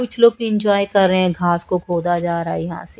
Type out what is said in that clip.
कुछ लोग इंजॉय कर रहे हैं घास को खोदा जा रहा यहां से।